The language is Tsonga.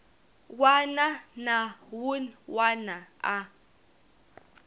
wana na wun wana a